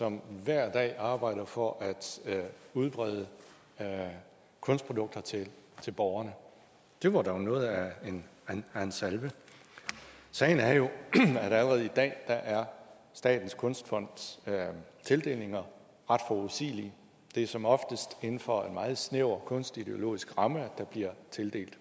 som hver dag arbejder for at udbrede kunstprodukter til borgerne det var dog noget af en salve sagen er jo at allerede i dag er statens kunstfonds tildelinger ret forudsigelige det er som oftest inden for en meget snæver kunstideologisk ramme at der bliver tildelt